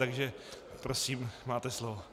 Takže prosím, máte slovo.